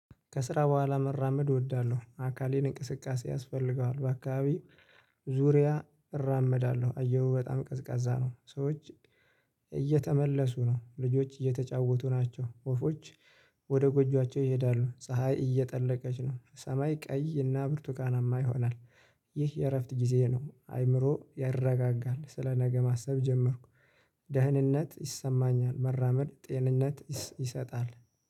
ከስራ በኋላ መራመድ እወዳለሁ አካሌን እንቅስቃሴ ያስፈልገዋል በአካባቢው ዙሪያ እራመዳለሁ አየሩ በጣም ቀዝቃዛ ነው። ሰዎች እየተመለሱ ነው። ልጆች እየተጫወቱ ናቸው። ወፎች ወደ ጎጇቸው ይሄዳሉ። ፀሀይ እየጠለቀች ነው። ሰማይ ቀይ እና ብርቱካናማ ይሆናል። ይህ የእረፍት ጊዜዬ ነው። አይምሮ ያረጋጋል ስለ ነገ ማሰብ ጀመርኩ። ደህንነት ይሰማኛል መራመድ ጤንነት ይሰጣል